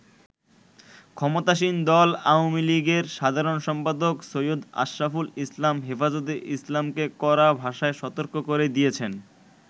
ক্ষমতাসীন দল আওয়ামী লীগের সাধারণ সম্পাদক সৈয়দ আশরাফুল ইসলাম হেফাজতে ইসলামকে কড়া ভাষায় সতর্ক করে দিয়েছেন।